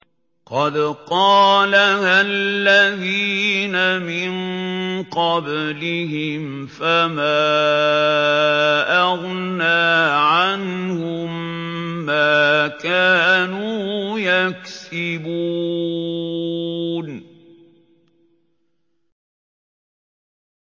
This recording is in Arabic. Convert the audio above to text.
قَدْ قَالَهَا الَّذِينَ مِن قَبْلِهِمْ فَمَا أَغْنَىٰ عَنْهُم مَّا كَانُوا يَكْسِبُونَ